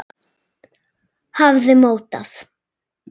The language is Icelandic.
hafði mótað.